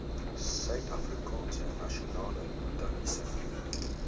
suidafrikaanse nasionale botaniese